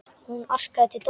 Hún arkaði til Dóru.